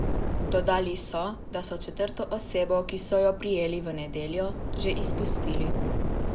Dodali so, da so četrto osebo, ki so jo prijeli v nedeljo, že izpustili.